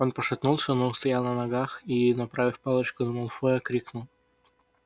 он пошатнулся но устоял на ногах и направив палочку на малфоя крикнул